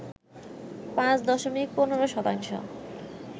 ৫ দশমিক ১৫ শতাংশ